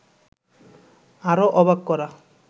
আরো অবাক করা